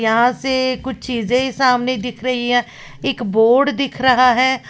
यहां से कुछ चीजें सामने दिख रही है एक बोर्ड दिख रहा है।